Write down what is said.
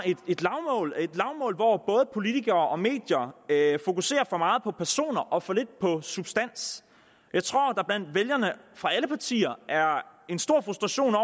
et lavmål hvor både politikere og medier fokuserer for meget på personer og for lidt på substans jeg tror der blandt vælgerne fra alle partier er en stor frustration